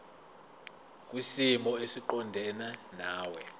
kwisimo esiqondena nawe